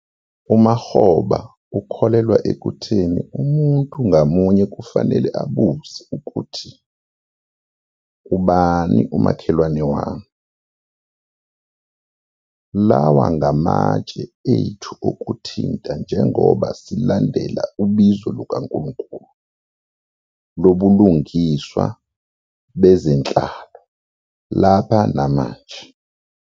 UMakgoba ukholelwa ekutheni 'Umuntu ngamunye kufanele abuze ukuthi, "Ubani umakhelwane wami?". Lawa ngamatshe ethu okuthinta njengoba silandela ubizo lukaNkulunkulu lobulungiswa bezenhlalo lapha namanje.